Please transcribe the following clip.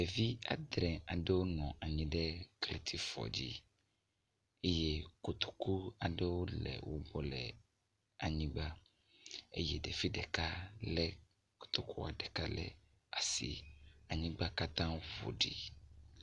Ɖevi adre aɖewo nɔ anyi ɖe kletifɔ dzi eye kotoku aɖewo le wo gbɔ le anyigba eye evi ɖeka le kotokua ɖeka le asi. Anyigba katã wo ƒo ɖi.